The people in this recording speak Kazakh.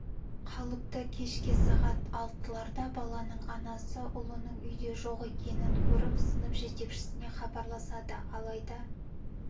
қалыпты кешкі сағат алтыларда баланың анасы ұлының үйде жоқ екенін көріп сынып жетекшісіне хабарласады алайда